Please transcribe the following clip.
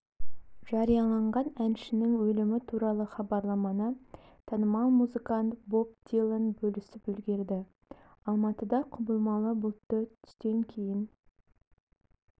жарияланған әншінің өлімі туралы хабарламаны танымал музыкант боб дилан бөлісіп үлгерді алматыда құбылмалы бұлтты түстен кейін